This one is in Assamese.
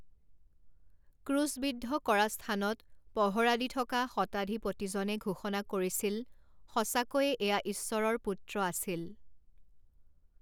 ক্ৰূছবিদ্ধ কৰা স্থানত পহৰা দি থকা শতাধিপতিজনে ঘোষণা কৰিছিল, সঁচাকৈয়ে এয়া ঈশ্বৰৰ পুত্ৰ আছিল!